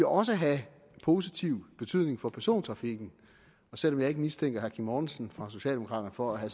også have positiv betydning for persontrafikken og selv om jeg ikke mistænker herre kim mortensen fra socialdemokraterne for at